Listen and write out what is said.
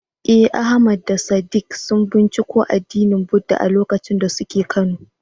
Eh, Ahmad da Sadiq sun binciko addinin Buddah a lokacin da suke Kano.